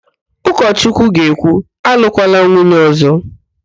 Ụkọchukwu ga-ekwu, alụkwala nwunye ọ̀zọ́!